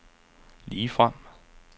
ligefrem